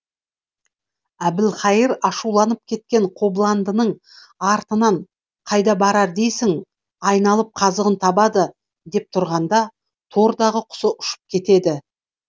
әбілқайыр ашуланып кеткен қобыландының артынан қайда барар дейсің айналып қазығын табады деп тұрғанда тордағы құсы ұшып кетеді